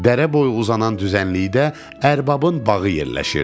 Dərə boyu uzanan düzənlikdə ərbabın bağı yerləşirdi.